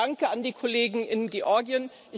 Danke an die Kollegen in Georgien.